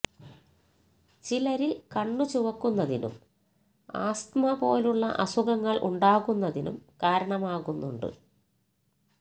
ചിലരിൽ കണ്ണു ചുവക്കുന്നതിനും ആസ്തമ പോലുള്ള അസുഖങ്ങൾ ഉണ്ടാകുന്നതിനും കാരണമാകുന്നുണ്ട്